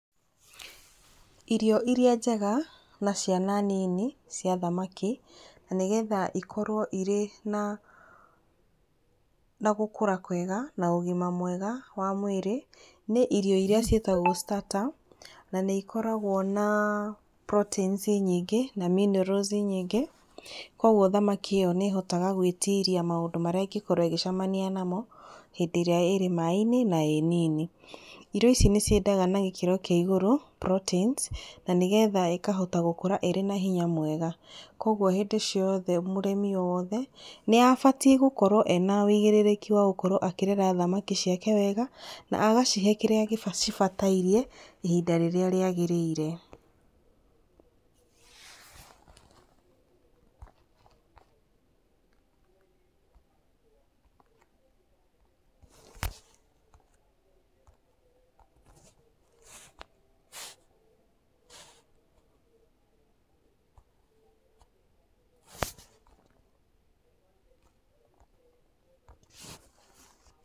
Ĩrio iria njega na ciana nini cia thamaki, na nĩgetha ĩkorwo irĩ na gũkura kwenga na ũgima mwega wa mwĩrĩ, nĩ irio iria ciĩtagwo starter, na nĩ ikoragwo na proteins nyingĩ, na minerals nyingĩ. Koguo thamaki ĩyo nĩ ĩhotaga gwĩtiria maũndũ marĩa ĩngĩcemania namo, hindĩ ĩrĩa ĩ maĩ-inĩ na hindĩ ĩrĩa ĩ-nini. Irio ici ni ciendaga na gĩkĩro kĩa igũrũ proteins na gĩkĩro kĩa igũrũ, nĩgetha ikahota gũkũra ĩna hinya mwega. Koguo hĩndĩ ciothe, mũrĩmi wothe nĩ abatiĩ gũkorwo ena ũigĩrĩrĩkĩ wa gũkorwo akĩrera thamakĩ ciake wega. Na agacihe kĩrĩa cĩbatairie, ihĩnda rĩrĩa rĩagĩrĩire.